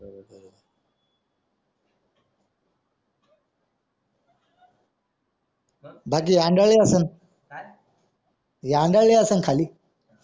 बाकी अंडाळी असं हि अंडाळी असं खाली